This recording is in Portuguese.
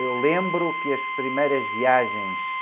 Eu lembro que as primeiras viagens...